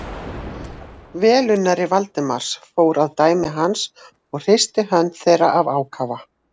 Velunnari Valdimars fór að dæmi hans og hristi hönd þeirra af ákafa.